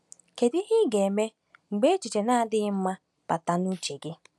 Kedu ihe ị ga-eme mgbe echiche na-adịghị mma bata n’uche gị?